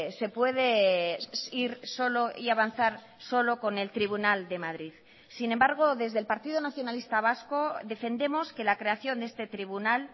se puede ir solo y avanzar solo con el tribunal de madrid sin embargo desde el partido nacionalista vasco defendemos que la creación de este tribunal